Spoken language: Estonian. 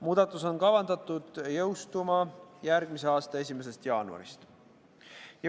Muudatus on kavandatud jõustuma järgmise aasta 1. jaanuarist.